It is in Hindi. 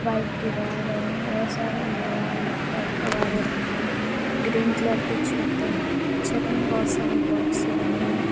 व्हाइट दीवार है बहोत सारे लोहा लक्कड़ कबाड़ा रखा है ग्रीन कलर की छत है छत मे बहोत सारे बॉक्से बने हुए--